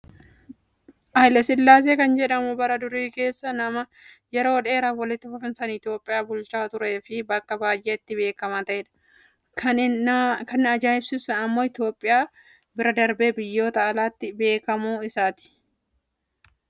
Haayilasillaasee kan jedhamu bara durii keessa nama yeroo dheeraaf walitti fufiinsaan Itoophiyaa bulchaa turee fi bakka baay'eetti beekamaa ta'edha. Kan na ajaa'ibsiisu immoo Itoophiyaa bira darbee biyyoota alaatti beekamuu isaati.